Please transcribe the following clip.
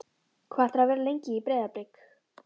Hvað ætlarðu að vera lengi í Breiðablik?